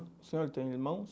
O senhor tem irmãos?